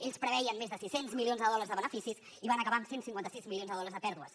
ells preveien més de sis cents milions de dòlars de beneficis i van acabar amb cent i cinquanta sis milions de dòlars de pèrdues